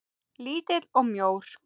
Lítill og mjór.